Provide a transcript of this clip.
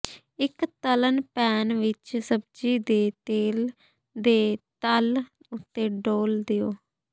ਇੱਕ ਤਲ਼ਣ ਪੈਨ ਵਿੱਚ ਸਬਜ਼ੀ ਦੇ ਤੇਲ ਦੇ ਤਲ ਉੱਤੇ ਡੋਲ੍ਹ ਦਿਓ